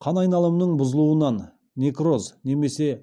қан айналымының бұзылуынан некроз немесе